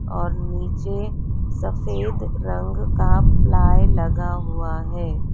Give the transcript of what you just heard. और नीचे सफेद रंग का प्लाई लगा हुआ है।